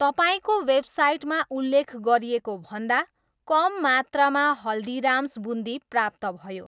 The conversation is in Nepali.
तपाईँको वेबसाइटमा उल्लेख गरिएको भन्दा कम मात्रामा हल्दीराम्स बुन्दी प्राप्त भयो